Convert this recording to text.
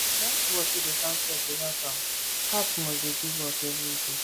that watch wey dey count steps dey help am heart must dey do work every day